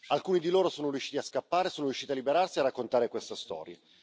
Alcuni di loro sono riusciti a scappare e sono riusciti a liberarsi e a raccontare questa storia.